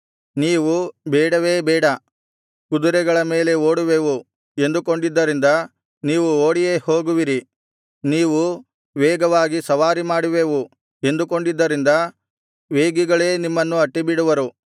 ನೀವು ಬೇಡವೇ ಬೇಡ ಕುದುರೆಗಳ ಮೇಲೆ ಓಡುವೆವು ಎಂದುಕೊಂಡಿದ್ದರಿಂದ ನೀವು ಓಡಿಯೇ ಹೋಗುವಿರಿ ನೀವು ವೇಗವಾಗಿ ಸವಾರಿ ಮಾಡುವೆವು ಎಂದುಕೊಂಡಿದ್ದರಿಂದ ವೇಗಿಗಳೇ ನಿಮ್ಮನ್ನು ಅಟ್ಟಿಬಿಡುವರು